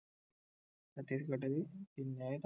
ഛത്തീസ്ഗഡിൽ പിന്നെ